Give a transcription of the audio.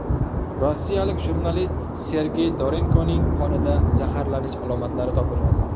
Rossiyalik jurnalist Sergey Dorenkoning qonida zaharlanish alomatlari topilmadi.